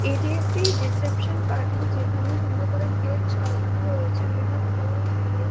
এটি একটি reception party যেখানে সুন্দর করে গেট সাজানো রয়েছে বিভিন্ন ফুল দিয়ে।